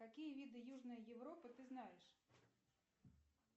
какие виды южной европы ты знаешь